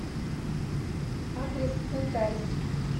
адрес кантарис